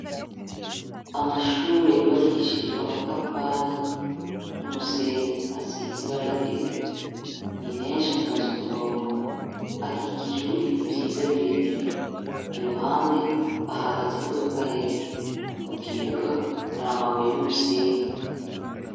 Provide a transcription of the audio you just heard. Amashure yubakishijwe amatafari n'umusenyi asiza ibaragera ni menshi atonze ku murongo akikijwe n'ibiti vyiza birebire iruhande ahagaze imodoka yera mu kibuga haramabuye n'umusenyi.